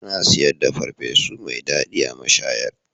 Ana siyar da farfesu mai daɗi a mashayar